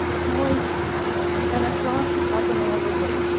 мой я нашла хату на новый год